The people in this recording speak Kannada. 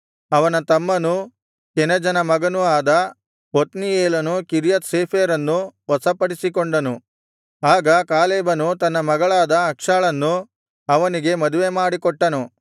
ಅವನ ತಮ್ಮನೂ ಕೆನಜನ ಮಗನೂ ಆದ ಒತ್ನೀಯೇಲನು ಕಿರ್ಯತ್ ಸೇಫೆರನ್ನು ವಶಪಡಿಸಿಕೊಂಡನು ಆಗ ಕಾಲೇಬನು ತನ್ನ ಮಗಳಾದ ಅಕ್ಷಾಳನ್ನು ಅವನಿಗೆ ಮದುವೆಮಾಡಿಕೊಟ್ಟನು